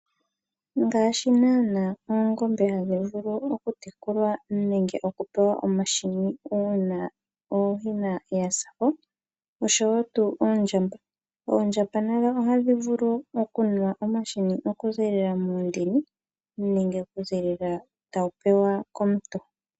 Ngaashi nana oongombe hadhi vulu okutekulwa nenge pewa omahini una ooyina yasako oasho wo tuu oondjamba nadho ohadhi vulu okunwa omahini okuzilila muundini nenge okuzilila tawu pewa komuntu.